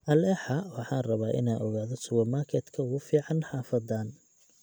alexa waxaan rabaa inaan ogaado supermarket-ka ugu fiican xaafadan